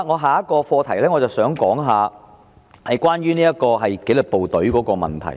下一個課題是關於紀律部隊的問題。